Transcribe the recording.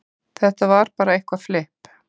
Þetta var bara eitthvað flipp.